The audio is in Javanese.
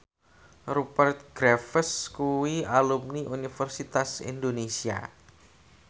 Rupert Graves kuwi alumni Universitas Indonesia